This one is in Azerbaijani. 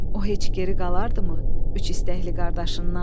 O heç geri qalardımı üç istəkli qardaşından?